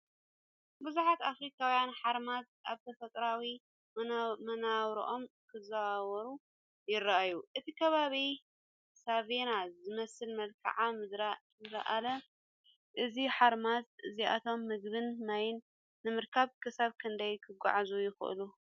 ብዙሓት ኣፍሪቃውያን ሓራምዝ ኣብ ተፈጥሮኣዊ መነባብሮኦም ክዘዋወሩ ይረኣዩ። እቲ ከባቢ ሳቫና ዝመስል መልክዓ ምድሪእኒሄዎ፣ እዞም ሓራምዝ እዚኣቶም ምግብን ማይን ንምርካብ ክሳብ ክንደይ ክጓዓዙ ይኽእሉ?